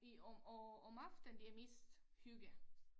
I om om om aftenen det er mest hygge